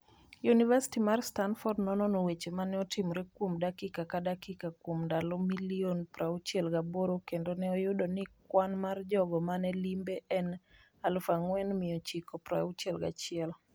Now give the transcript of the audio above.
Yunivasiti mar Stamford nonono weche mane otimore kuom dakika ka dakika kuom ndalo milion 68 kendo ne oyudo ni kwan mar jogo mane limbe en 4,961.